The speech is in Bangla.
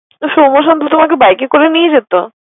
তো সৌম শান্ত তোমাকে বাইকে করে নিয়ে যেত।